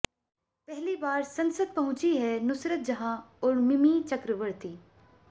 पहली बार संसद पहुंचीं हैं नुसरत जहां और मिमी चक्रवर्ती